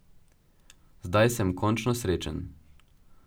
Zdaj sem končno srečen.